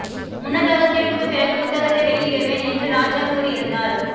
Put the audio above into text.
முன்னதாக தீர்ப்புக்குப் பிறகு புத்தகத்தை வெளியிடுவேன் என்று ராஜா கூறியிருந்தார்